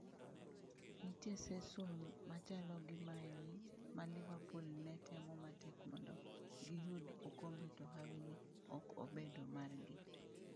Nitie seson machalo gi maeni ma Liverpool netemo matek mondo giyud okombe to hawi ne ok obedo margi.